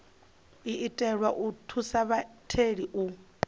itelwa u thusa vhatheli u